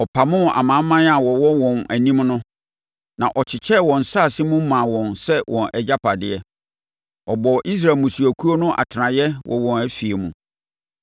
Ɔpamoo amanaman a wɔwɔ wɔn anim no na ɔkyekyɛɛ wɔn nsase no mu maa wɔn sɛ wɔn agyapadeɛ; ɔbɔɔ Israel mmusuakuo no atenaseɛ wɔ wɔn afie mu.